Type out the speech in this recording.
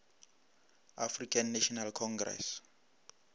african national congress